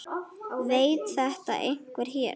Veit þetta einhver hér?